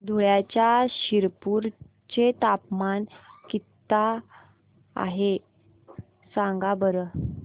धुळ्याच्या शिरपूर चे तापमान किता आहे सांगा बरं